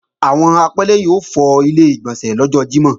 Àwọn apẹ́lẹ́yìn ó fọ Ilé-ìgbọ̀nsẹ̀ lọ́jọ́ Jímọ̀